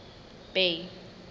bay